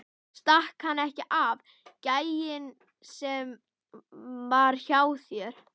Stakk hann ekki af, gæinn sem var hjá þér?